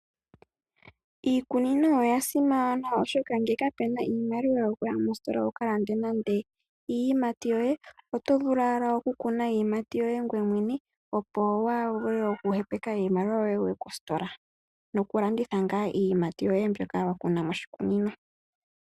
Iikunino oya simana oshoka nge ka puna iimaliwa yo kuya mositola wu ka lande nande iiyimati yoye .Oto vulu ike oku kuna iiyimati yoye ngoye mwene, opo waa vule oku hepeka iimaliwa yoye wuye kositola. No ku landitha ngaa iiyimati yoye mbyoka wa kuna mo shikunino.